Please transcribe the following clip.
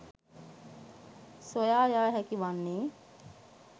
සොයා යා හැකි වන්නේ